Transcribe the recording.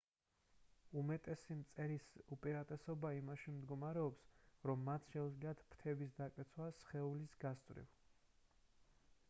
უმეტესი მწერის უპირატესობა იმაში მდგომარეობს რომ მათ შეუძლიათ ფრთების დაკეცვა სხეულის გასწვრივ